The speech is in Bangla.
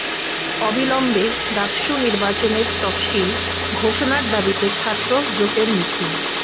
অবিলম্বে ডাকসু নির্বাচনের তফসিল ঘোষণার দাবিতে ছাত্র জোটের মিছিল